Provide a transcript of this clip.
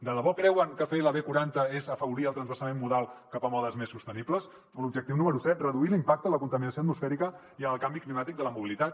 de debò creuen que fer la b quaranta és afavorir el transvasament modal cap a modes més sostenibles o l’objectiu número set reduir l’impacte en la contaminació atmosfèrica i en el canvi climàtic de la mobilitat